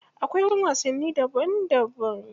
Akwai wajen wasanni daban daban.